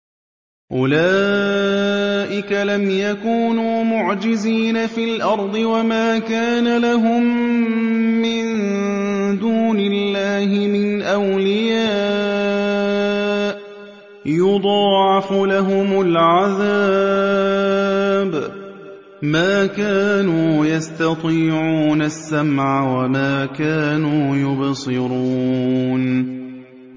أُولَٰئِكَ لَمْ يَكُونُوا مُعْجِزِينَ فِي الْأَرْضِ وَمَا كَانَ لَهُم مِّن دُونِ اللَّهِ مِنْ أَوْلِيَاءَ ۘ يُضَاعَفُ لَهُمُ الْعَذَابُ ۚ مَا كَانُوا يَسْتَطِيعُونَ السَّمْعَ وَمَا كَانُوا يُبْصِرُونَ